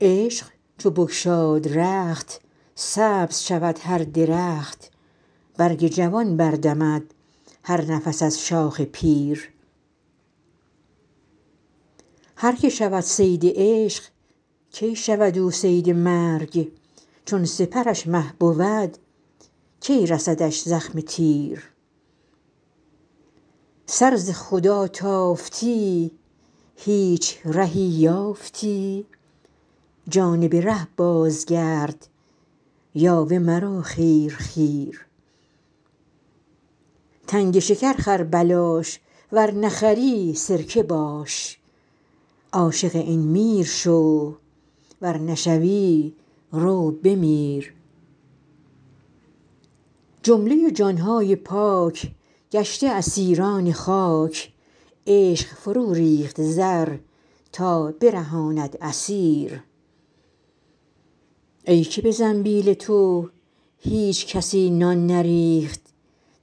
عشق چو بگشاد رخت سبز شود هر درخت برگ جوان بر دمد هر نفس از شاخ پیر هر که شود صید عشق کی شود او صید مرگ چون سپرش مه بود کی رسدش زخم تیر سر ز خدا تافتی هیچ رهی یافتی جانب ره بازگرد یاوه مرو خیر خیر تنگ شکر خر بلاش ور نخری سرکه باش عاشق این میر شو ور نشوی رو بمیر جمله جان های پاک گشته اسیران خاک عشق فروریخت زر تا برهاند اسیر ای که به زنبیل تو هیچ کسی نان نریخت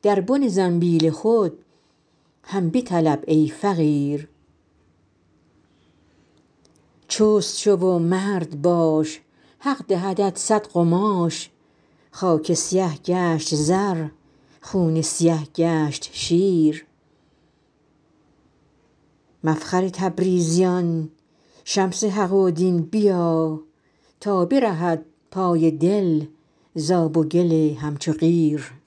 در بن زنبیل خود هم بطلب ای فقیر چست شو و مرد باش حق دهدت صد قماش خاک سیه گشت زر خون سیه گشت شیر مفخر تبریزیان شمس حق و دین بیا تا برهد پای دل ز آب و گل همچو قیر